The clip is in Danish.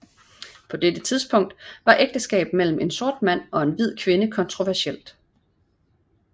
På dette tidpunkt var ægteskab mellem en sort mand og en hvid kvinde kontroversiel